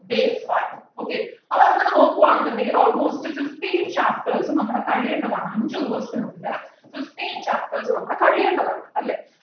day one okay അപ്പൊ അങ്ങനെ നോക്കുകയണുന്നുണ്ടെങ്കിൽ almost fifteen chapters ഉം നമ്മള് കഴിയേണ്ടതാണ് അഞ്ചു ദിവസത്തിനുള്ളില് fifteen chapters നമ്മളെ കഴിയേണ്ടതാണ് അല്ലേ